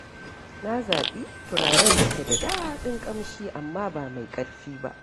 Na zaɓi turaren da ke da daɗin ƙamshi amma ba mai ƙarfi ba.